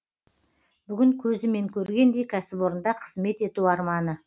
бүгін көзімен көргендей кәсіпорында қызмет ету арманы